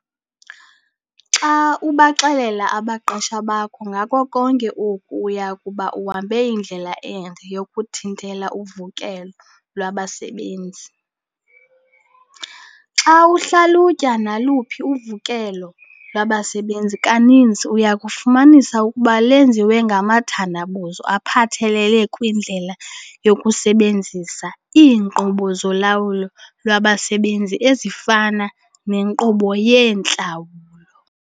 Xa ubaxelela abaqeshwa bakho ngako konke oku uya kuba uhambe indlela ende yokuthintela uvukelo lwabasebenzi. Xa uhlalutya naluphi uvukelo lwabasebenzi kaninzi uya kufumanisa ukuba lwenziwe ngamathandabuzo aphathelele kwindlela yokusebenzisa iinkqubo zolawulo lwabasebenzi ezifana nenkqubo yeentlawulo.